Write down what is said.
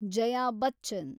Jaya Bachchan